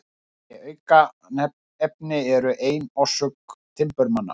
Þessi aukaefni eru ein orsök timburmanna.